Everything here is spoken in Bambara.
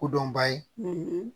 Kodɔnba ye